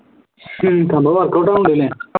ഹും സംഭവം workout ആവുന്നുണ്ടല്ലോ